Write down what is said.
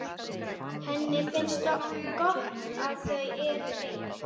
Henni finnst gott að þau eru ein.